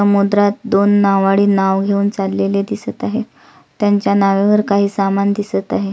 समुद्रात दोन नावाडी नाव घेऊन चाललेले दिसत आहेत त्यांच्या नावेवर काही सामान दिसत आहे.